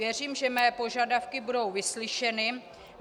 Věřím, že mé požadavky budou vyslyšeny.